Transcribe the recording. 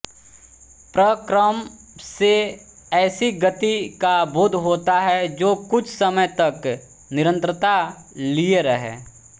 प्रक्रम से ऐसी गति का बोध होता है जो कुछ समय तक निरंतरता लिए रहे